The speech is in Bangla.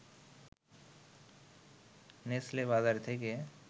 নেসলে বাজার থেকে